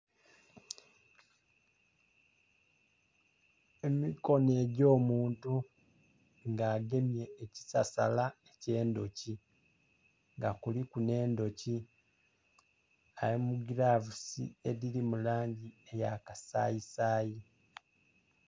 Emikono egy'omuntu nga agemye ekisasala eky'endhoki nga kuliku n'endhoki ali mu gilavusi edhiri mu langi eya kasaayisaayi.